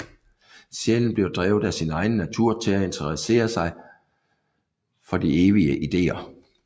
Sjælen bliver drevet af sin egen natur til at interessere sig for de evige ideer